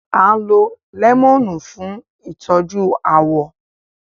À ń lo lẹ́mọ̀nù fún ìtọ́jú àwọ̀